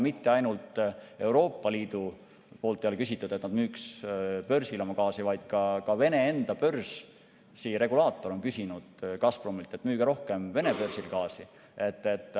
Mitte ainult Euroopa Liidu poolt ei ole küsitud, et kas nad müüks oma gaasi börsil, vaid ka Vene enda börsiregulaator on öelnud Gazpromile, et müüge rohkem Vene börsil gaasi.